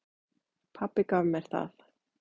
Pabbi gaf mér það.